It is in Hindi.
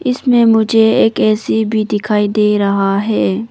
इसमें मुझे एक ए_सी भी दिखाई दे रहा है।